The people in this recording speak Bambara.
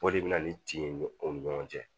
O de bɛ na ni tin o ni ɲɔgɔn cɛ